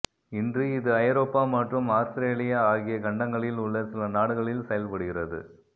இன்று இது ஐரோப்பா மற்றும் ஆஸ்திரேலியா ஆகிய கண்டங்களில் உள்ள சில நாடுகளில் செயல்படுகிறது